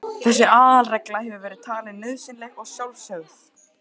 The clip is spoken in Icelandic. Þessi aðalregla hefur verið talin nauðsynleg og sjálfsögð.